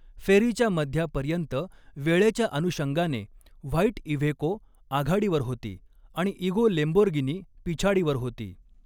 फेरीच्या मध्यापर्यंत वेळेच्या अनुषंगाने व्हाईट इव्हेको आघाडीवर होती आणि इगो लेम्बोर्गिनी पिछाडीवर होती.